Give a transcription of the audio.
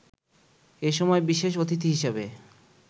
এ সময় বিশেষ অতিথি হিসেবে